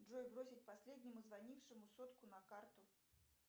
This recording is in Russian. джой бросить последнему звонившему сотку на карту